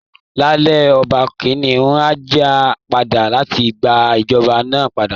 Láéláé, Ọba Kìnìún á jà padà láti gba ìjọba náà padà